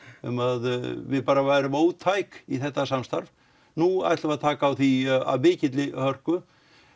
um að við værum ótæk í þetta samstarf nú ætlum við að taka á því af mikilli hörku